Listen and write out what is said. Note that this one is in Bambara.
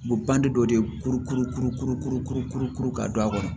U bɛ ban de dɔ de kuru kuru kuru kuru kuru kuru kuru kuru ka don a kɔnɔ